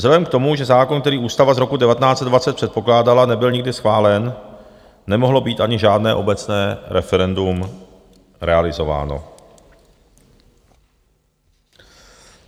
Vzhledem k tomu, že zákon, který ústava z roku 1920 předpokládala, nebyl nikdy schválen, nemohlo být ani žádné obecné referendum realizováno.